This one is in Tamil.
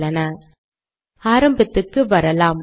உள்ளன ஆரம்பத்துக்கு வரலாம்